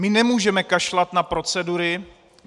My nemůžeme kašlat na procedury.